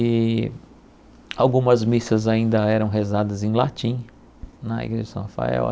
E algumas missas ainda eram rezadas em latim na igreja de São Rafael.